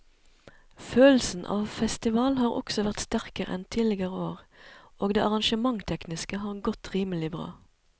Følelsen av festival har også vært sterkere enn tidligere år og det arrangementstekniske har godt rimelig bra.